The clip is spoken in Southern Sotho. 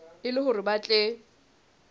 e le hore ba tle